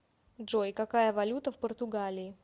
джой какая валюта в португалии